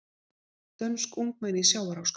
Dönsk ungmenni í sjávarháska